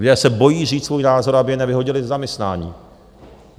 Lidé se bojí říct svůj názor, aby je nevyhodili ze zaměstnání.